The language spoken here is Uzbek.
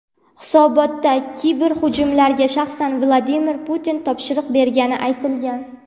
Hisobotda kiberhujumlarga shaxsan Vladimir Putin topshiriq bergani aytilgan.